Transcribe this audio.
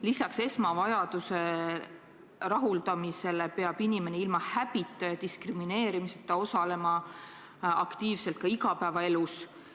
Lisaks esmavajaduste rahuldamisele peab inimene ilma häbi ja diskrimineerimiseta osalema aktiivselt ka igapäevaelus.